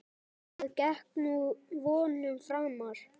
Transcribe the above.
Það gekk vonum framar.